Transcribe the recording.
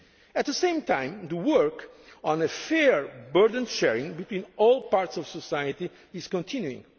for European firms. At the same time, the work on fair burden sharing between all parts of society